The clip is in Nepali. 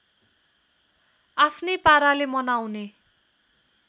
आफ्नै पाराले मनाउने